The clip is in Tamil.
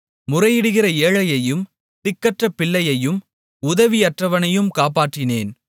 முறையிடுகிற ஏழையையும் திக்கற்ற பிள்ளையையும் உதவியற்றவனையும் காப்பாற்றினேன்